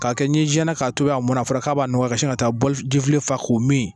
K'a kɛ ni n siɲɛna k'a to yan munna a fɔra k'a b'a nɔgɔya ka sin ka taa bɔli fa k'o min